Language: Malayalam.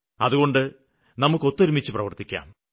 അതുകൊണ്ട് നമുക്ക് ഒത്തൊരുമിച്ച് പ്രവര്ത്തിക്കാം